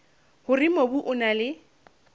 hore mobu o na le